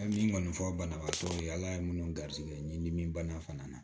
A ye min kɔni fɔ banabaatɔ ye ala ye minnu garisigɛ nin dimi bana fana na